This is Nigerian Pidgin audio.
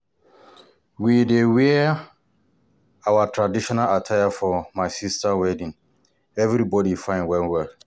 We dey wear our traditional attire for my sister wedding, everybody fine well well.